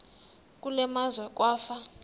kule meazwe kwafa